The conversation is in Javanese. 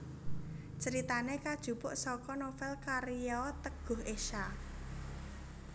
Critane kajupuk saka novel karya Teguh Esha